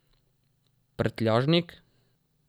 Prtljažnik?